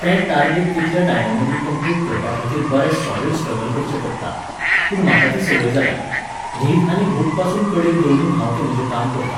तें टार्गेट तितल्या टायमामदीं कम्प्लीट करपाखातीर बरें सॉलिड स्ट्रगल करचें पडटा. पूण म्हाका ती संवय जाल्या. न्हीद आनी भूकपासून कडेक दवरून हांव तें म्हजें काम करतां.